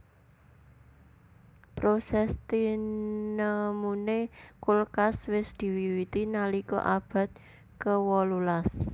Proses tinemuné kulkas wis diwiwiti nalika abad kewolu las